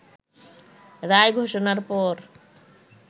রায় ঘোষণার পর